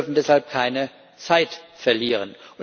Wir dürfen deshalb keine Zeit verlieren.